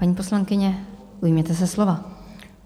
Paní poslankyně, ujměte se slova.